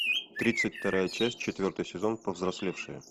тридцать вторая часть четвертый сезон повзрослевшие